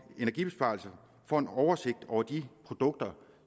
energibesparelser får en oversigt over de produkter